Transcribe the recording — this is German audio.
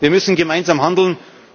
Wir müssen gemeinsam handeln.